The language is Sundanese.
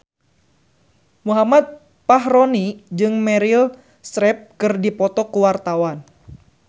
Muhammad Fachroni jeung Meryl Streep keur dipoto ku wartawan